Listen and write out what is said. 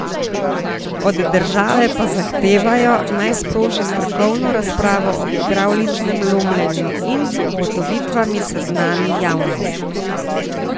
Od države pa zahtevajo, naj sproži strokovno razpravo o hidravličnem lomljenju in z ugotovitvami seznani javnost.